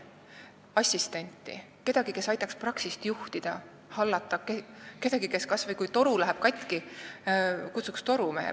Oleks vaja assistenti – kedagi, kes aitaks praksist juhtida ja hallata või kes kutsuks ka vajaduse korral torumehe.